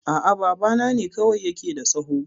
A'a, babana ne kawai ya ke da tsaho